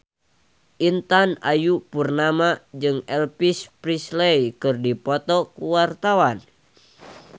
Intan Ayu Purnama jeung Elvis Presley keur dipoto ku wartawan